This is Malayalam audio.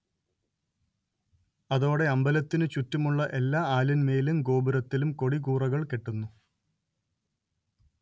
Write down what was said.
അതോടെ അമ്പലത്തിനു ചുറ്റുമുള്ള എല്ലാ ആലിന്മേലും ഗോപുരത്തിലും കൊടിക്കൂറകൾ കെട്ടുന്നു